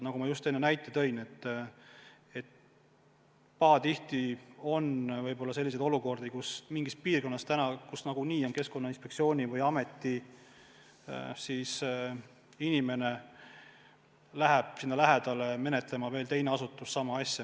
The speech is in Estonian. Nagu ma just enne näite tõin, pahatihti on selliseid olukordi, kus mingisse piirkonda, kus Keskkonnainspektsiooni või ameti inimene juba on, läheb üht teist asja menetlema teise asutuse esindaja.